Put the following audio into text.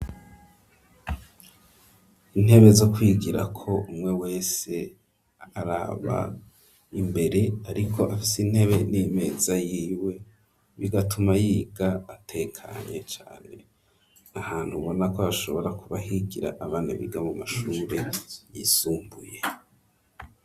Intebe zo kwigirako umwe wese araba imbere ariko afise intebe n'imeza yiwe bigatuma yiga atekanye cane ahantu ubona ko hashobora kuba higira abana biga mu mashure yisumbuye.